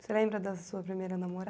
Você lembra da sua primeira